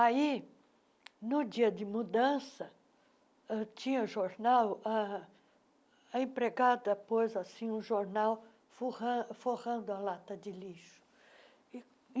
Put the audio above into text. Aí, no dia de mudança, eu tinha jornal ah, a empregada pôs assim um jornal forran forrando a lata de lixo.